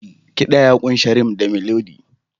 Kiɗa ya ƙunshi rythm da Melody.